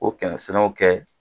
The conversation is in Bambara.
O kɛ sɛnɛw kɛ